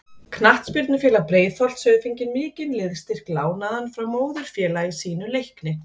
Knattspyrnufélag Breiðholts hefur fengið mikinn liðsstyrk lánaðan frá móðurfélagi sínu Leikni.